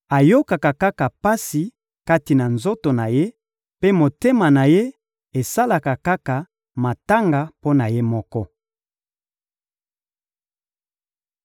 Ayokaka kaka pasi kati na nzoto na ye, mpe motema na ye esalaka kaka matanga mpo na ye moko.»